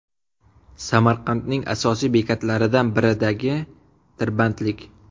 Samarqandning asosiy bekatlaridan biridagi tirbandlik .